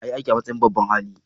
Na yi aiki a matsayin babban hali.